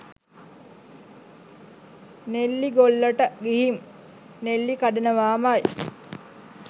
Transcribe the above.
නෙල්ලිගොල්ලට ගිහින් නෙල්ලි කඩනවාමයි